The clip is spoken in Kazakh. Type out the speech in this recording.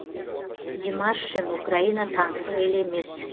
димаш үшін украина таңсық ел емес